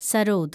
sarod